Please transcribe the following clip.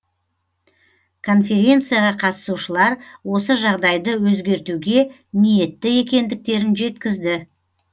конференцияға қатысушылар осы жағдайды өзгертуге ниетті екендіктерін жеткізді